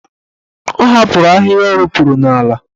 Ọ hapụrụ ahịhịa o ropuru n'ala.